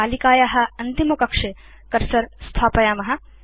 तालिकाया अन्तिमकक्षे कर्सर स्थापयाम